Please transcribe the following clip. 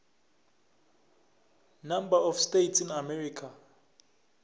number of states in america